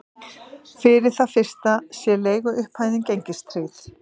Fyrir það fyrsta sé leiguupphæðin gengistryggð